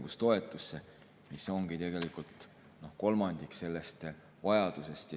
ongi tegelikult kolmandik sellest vajadusest.